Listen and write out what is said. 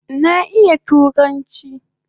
Na iya turanchi